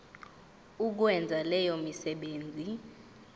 ukwenza leyo misebenzi